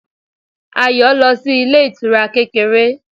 Ayọ̀ lọ sí ilé ìtura kékeré